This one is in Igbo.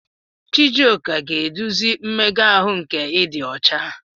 Chijioke ga-eduzi mmega ahụ nke ịdị ọcha.